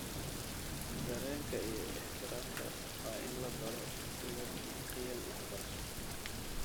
Dareenka iyo ixtiraamka waa in la baro sida qiyam waxbarasho.